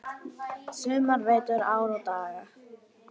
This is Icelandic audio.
sumar, vetur, ár og daga.